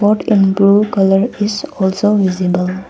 Bok and blue colour is also visible.